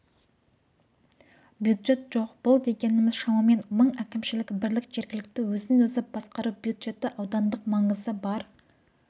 бюджет жоқ бұл дегеніміз шамамен мың әкімшілік бірлік жергілікті өзін-өзі басқару бюджеті аудандық маңызы бар